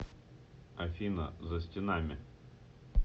афина за стенами